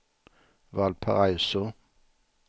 Valparaiso